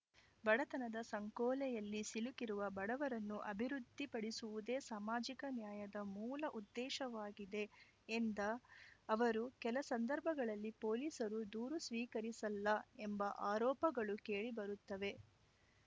ಬಡತನದ ಸಂಕೋಲೆಯಲ್ಲಿ ಸಿಲುಕಿರುವ ಬಡವರನ್ನು ಅಭಿವೃದ್ಧಿಪಡಿಸುವುದೇ ಸಾಮಾಜಿಕ ನ್ಯಾಯದ ಮೂಲ ಉದ್ದೇಶವಾಗಿದೆ ಎಂದ ಅವರು ಕೆಲ ಸಂದರ್ಭಗಳಲ್ಲಿ ಪೊಲೀಸರು ದೂರು ಸ್ವೀಕರಿಸಲ್ಲ ಎಂಬ ಆರೋಪಗಳು ಕೇಳಿ ಬರುತ್ತವೆ